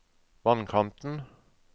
vannkanten